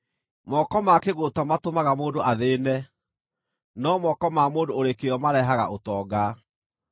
Moko ma kĩgũũta matũmaga mũndũ athĩĩne, no moko ma mũndũ ũrĩ kĩyo marehaga ũtonga.